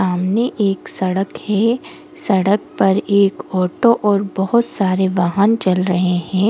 सामने एक सड़क है सड़क पर एक ऑटो और बहुत सारे वाहन चल रहे हैं।